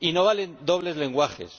Y no valen dobles lenguajes.